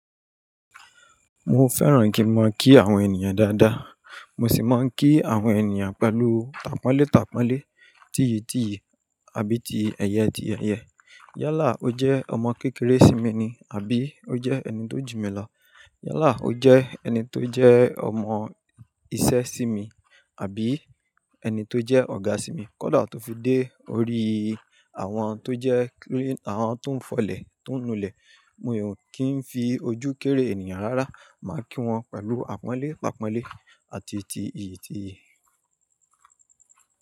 Mo fẹ́ràn kí n máa kí àwọn ènìyàn dáadáa. Mo sì máa ń kí àwọn ènìyàn pẹ̀lú tàpọ́nlé tàpọ́nlé, tìyì tìyì àbí ti ẹ̀yẹ ti ẹ̀yẹ. Yalà, ó jẹ́ ọmọ kékeré sí mi ni àbí ó jẹ́ ẹni tó jù mí lọ. Yalà, ó jẹ́ ẹni tó jẹ́ ọmọ isẹ́ sí mi àbí ẹni tó jẹ́ ọ̀gá sí mi. Kódà tó fi dé orí àwọn tó jẹ́ kí-- àwọn tó ń fọlẹ̀, tó ń nulẹ̀. Mi ò kí ń fi ojú kéré ènìyàn rárá. Máa kí wọn pẹ̀lú àpọ́nlé tàpọ́nlé àti ti ìyì tìyì.